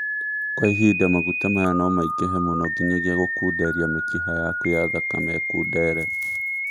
Kwa ihinda, maguta maya nomaingighe mũno nginyagia gũkunderia mĩkiha yaku ya thakame ĩkundere